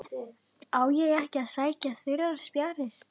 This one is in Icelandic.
Á ég ekki að sækja þurrar spjarir?